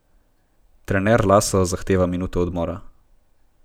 Trener Laso zahteva minuto odmora.